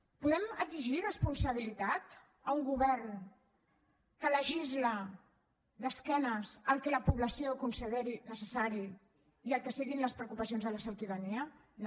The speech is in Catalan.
podem exigir responsabilitat a un govern que legisla d’esquenes al que la població considera necessari i al que són les preocupacions de la ciutadania no